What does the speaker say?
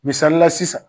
Misalila sisan